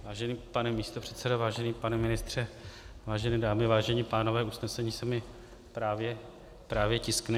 Vážený pane místopředsedo, vážený pane ministře, vážené dámy, vážení pánové, usnesení se mi právě tiskne.